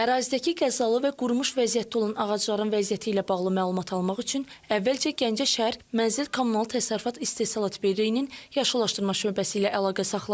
Ərazidəki qəzalı və qurumuş vəziyyətdə olan ağacların vəziyyəti ilə bağlı məlumat almaq üçün əvvəlcə Gəncə şəhər Mənzil Kommunal Təsərrüfat İstehsalat Birliyinin Yaşıllaşdırma şöbəsi ilə əlaqə saxladıq.